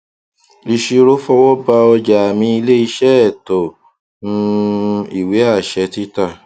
ìṣirò fọwọbà ọjà àmì ilé iṣẹ ẹtọ um ìwé àṣẹ títà